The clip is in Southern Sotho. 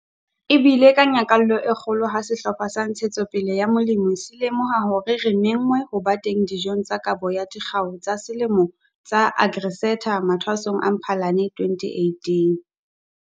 E bile ka nyakallo e kgolo ha sehlopha sa Ntshetsopele ya Molemi se lemoha hore re menngwe ho ba teng dijong tsa Kabo ya Dikgau tsa Selemo tsa AgriSeta mathwasong a Mphalane 2018.